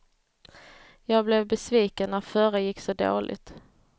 Jag blev besviken när förra gick så dåligt.